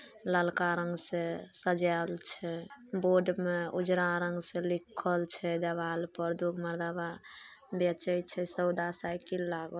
ललका रंग से सजाल छै बोर्ड में ऊजरा रंग से लिखल छै देवाल पर दू गो मर्दवा बेचे छै सौदा साइकिल लागल छै।